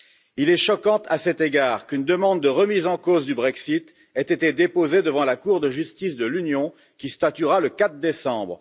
Il est choquant, à cet égard, qu'une demande de remise en cause du Brexit ait été déposée devant la Cour de justice de l'Union, qui statuera le 4 décembre.